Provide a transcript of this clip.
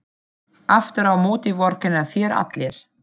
Aftur á móti vorkenna þér allir.